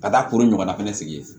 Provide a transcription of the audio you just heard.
Ka taa koro ɲɔgɔnna fɛnɛ sigi yen